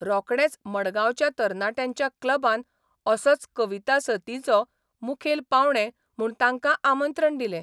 रोकडेंच मडगांवच्या तरणाट्यांच्या क्लबान असोच कविता सतींचे मुखेल पावणे म्हूण तांकां आमंत्रण दिलें.